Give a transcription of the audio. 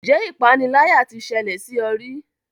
Ǹjẹ́ ipániláyà tí ṣẹlẹ̀ sí ọ rí?